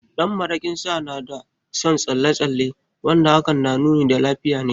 Ɗan maraƙin Sa na da son tsalle tsalle wanda hakan na nuni da lafiya ne.